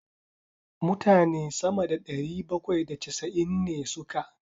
Mutane sama da ɗari bakwai da casa'in ne suka.